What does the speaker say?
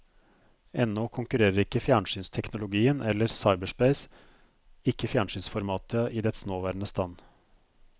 Ennå konkurrerer ikke fjernsynsteknologien eller cyberspace, ikke fjernsynsformatet i dets nåværende stand.